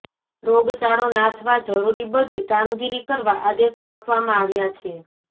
રોગચાળો નાથવા જરૂરી બધી કામગીરી કરવા આદેશો આપવામાં આવ્યા છે